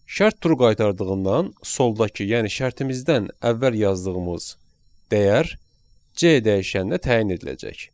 Şərt true qaytardığından soldakı, yəni şərtimizdən əvvəl yazdığımız dəyər C dəyişəninə təyin ediləcək.